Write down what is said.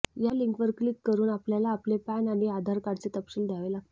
या लिंक वर क्लिक करून आपल्याला आपले पॅन आणि आधार कार्ड चे तपशील द्यावे लागतील